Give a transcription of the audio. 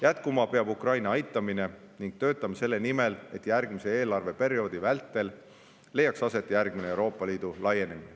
Jätkuma peab Ukraina aitamine ning töötame selle nimel, et järgmise eelarveperioodi vältel leiaks aset järgmine Euroopa Liidu laienemine.